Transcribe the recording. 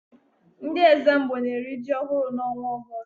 Ndị Ẹ́zàmgbó na-eri ji ọhụrụ n'ọnwa Ọgọọst.